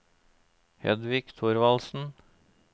Hedvig Thorvaldsen